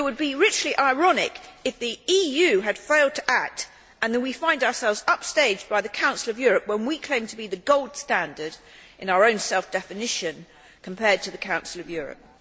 It would be richly ironic if the EU had failed to act and we found ourselves upstaged by the Council of Europe when we claim to be the gold standard in our own self definition compared to the Council of Europe.